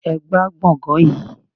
Ẹ gbá gbọ̀ngàn yìí!